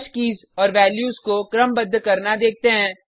hash keys और values को क्रमबद्ध करना देखते हैं